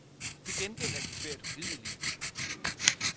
Til gengæld er de svært ugidelige.